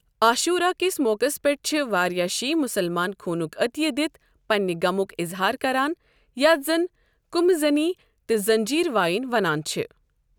عاشورہ کِس موقعَس پیٛٹھ چھِ واریاہ شِیہ مسلمان خوٗنُک عطیہ دِتھ پننہِ غمُک اظہار کران، یَتھ زَن قمہ زنی تہٕ زنجیز وایِن ونان چھِ۔۔